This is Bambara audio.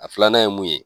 A filanan ye mun ye